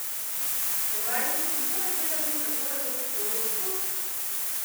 Premajhni in poleg tega z njim tako rekoč v sorodstvu?